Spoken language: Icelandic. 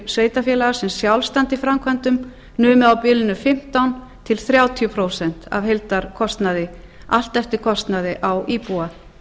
sveitarfélaga sem sjálf standa í framkvæmdum numið á bilinu fimmtán til þrjátíu prósent af heildarkostnaði allt eftir kostnaði á íbúa